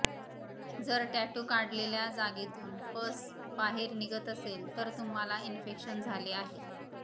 जर टॅटू काढलेल्या जागेतून पस बाहेर निघत असेल तर तुम्हाला इन्फेक्शन झाले आहे